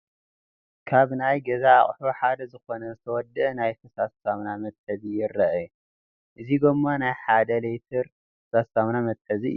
ካብ ናይ ገዛ ኣቑሑ ሓደ ዝኾነ ዝተወደአ ናይ ፈሳሲ ሳሙና መትሓዚ ይረአ፡፡ እዚ ጎማ ናይ ሓደ ሊትር ፈሳሲ ሳሙና መትሓዚ እዩ፡፡